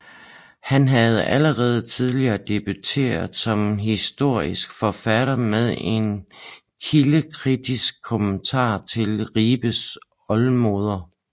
Han havde allerede tidligere debuteret som historisk forfatter med en kildekritisk kommentar til Ribe Oldemoder